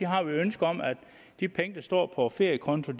har vi et ønske om at de penge der står på feriekonto